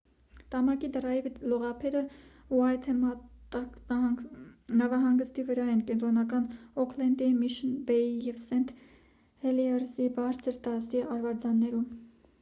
տամակի դրայվի լողափերը ուայթեմատա նավահանգստի վրա են կենտրոնական օքլենդի միշըն բեյի և սենթ հելիերզի բարձր դասի արվարձաններում